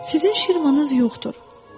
Sizin şirmanız yoxdur.